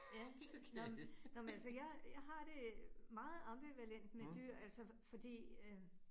Ja, nåh, nåh men altså jeg jeg har det meget ambivalent med dyr altså fordi øh